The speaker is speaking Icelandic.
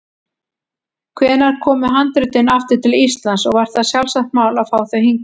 Hvenær komu handritin aftur til Íslands og var það sjálfsagt mál að fá þau hingað?